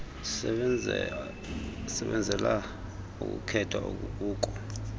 sisebenzela ukukhetha okukuko